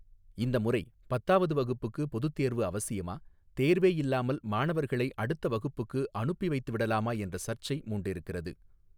இந்த முறை பத்தாவது வகுப்புக்கு பொதுத் தேர்வு அவசியமா தேர்வே இல்லாமல் மாணவர்களை அடுத்த வகுப்புக்கு அனுப்பிவைத்துவிடலாமா என்ற சர்ச்சை மூண்டிருக்கிறது.